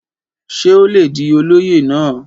ṣé ó le di olóyè náà?